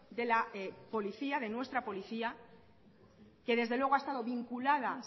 de la policía de nuestra policía que desde luego ha estado vinculada